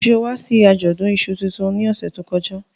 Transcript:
Ṣe o wa si ajọdun iṣú tuntun ni ọsẹ to kọja?